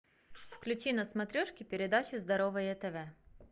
включи на смотрешке передачу здоровое тв